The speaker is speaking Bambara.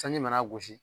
Sanji mana gosi